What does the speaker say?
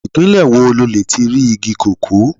Ìpínlẹ̀ wo lo lè ti rí igi kókó.